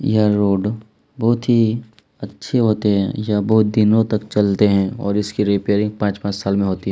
यह रोड बहुत ही अच्छे होते है जो यह बहुत दिनों तक चलते है और इसकी रिपेयरिंग पाँच -पाँच साल में होती हैं।